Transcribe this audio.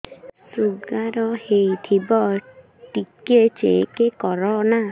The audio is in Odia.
ଶୁଗାର ହେଇଥିବ ଟିକେ ଚେକ କର ନା